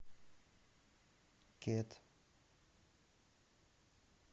кит